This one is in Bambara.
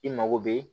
I mago bɛ